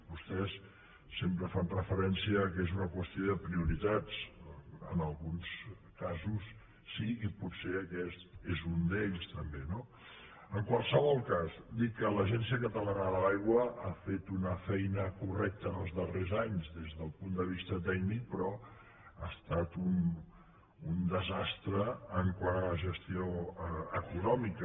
vostès sempre fan referència al fet que és una qüestió de prioritats en alguns casos sí i potser aquest és un d’ells també no en qualsevol cas dir que l’agència catalana de l’aigua ha fet una feina correcta en els darrers anys des del punt de vista tècnic però que ha estat un desastre quant a la gestió econòmica